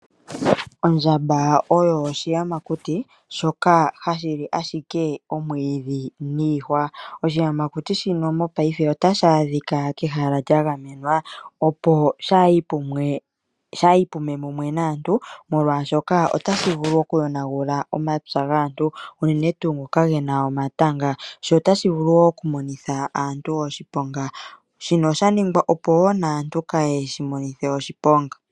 Ondjamba oyo oshiyamakuti shoka hashi li ashike omwiidhi niihwa . Oshiyamakuti shino mopayife otashi adhika kehala lya gamenwa opo kaashi pume mumwe naantu molwaashoka otashi vulu oku yonagula omapya gaantu unene tuu ngoka gena omatanga sho otashi vulu oku monitha aantu oshiponga shino osha ningwa opo woo naantu kayeshi monithe oshiponga.